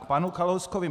K panu Kalouskovi.